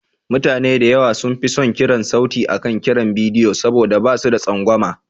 Mutane da yawa sun fi son kiran sauti akan kiran bidiyo saboda ba su da tsangwama.